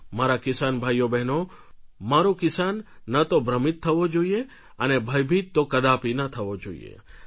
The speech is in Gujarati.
મારા કિસાન ભાઈઓબહેનો મારો કિસાન ન તો ભ્રમિત થવો જોઈએ અને ભયભીત તો કદાપી ન થવો જોઈએ